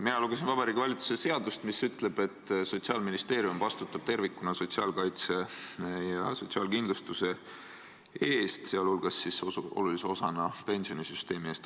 Mina lugesin Vabariigi Valitsuse seadust, mis ütleb, et Sotsiaalministeerium vastutab tervikuna sotsiaalkaitse ja sotsiaalkindlustuse eest, sh olulise osana pensionisüsteemi eest.